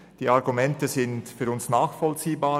Die Argumente sind für uns nachvollziehbar;